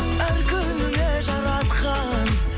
әр күніңе жаратқан